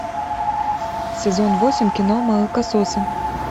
сезон восемь кино молокососы